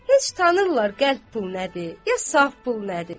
Heç tanıyırlar qəlb pul nədir, ya saf pul nədir?